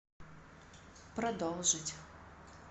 продолжить